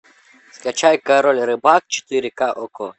скачай король рыбак четыре ка окко